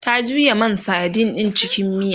ta juya man sadin ɗin cikin miya